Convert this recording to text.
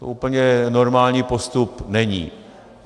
To úplně normální postup není.